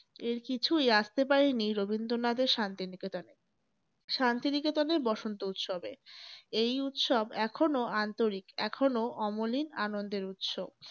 এর কিছুই আসতে পারেনি রবীন্দ্রনাথের শান্তি নিকেতনে। শান্তি নিকেতনের বসন্ত উৎসবে। এই উৎসব এখনও আন্তরিক এখনো অমলিন আনন্দের উৎস।